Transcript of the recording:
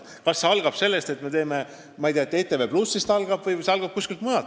Kas see algab ETV+-ist või algab see kuskilt mujalt?